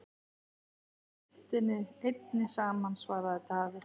Með heiftinni einni saman, svaraði Daði.